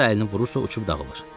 Hara əlini vurursa uçub dağılır.